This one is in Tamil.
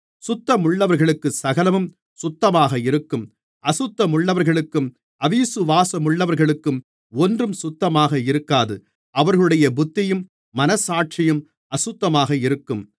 சுத்தமுள்ளவர்களுக்குச் சகலமும் சுத்தமாக இருக்கும் அசுத்தமுள்ளவர்களுக்கும் அவிசுவாசமுள்ளவர்களுக்கும் ஒன்றும் சுத்தமாக இருக்காது அவர்களுடைய புத்தியும் மனச்சாட்சியும் அசுத்தமாக இருக்கும்